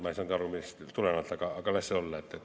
Ma ei saanud aru, millest tulenevalt, aga las see olla.